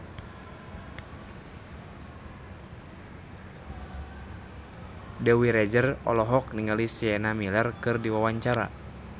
Dewi Rezer olohok ningali Sienna Miller keur diwawancara